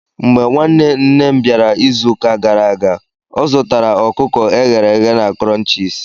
Mgbe nwanne nne m bịara izuụka gara aga, ọ zụtara ọkụkọ e ghere eghe na Crunchies.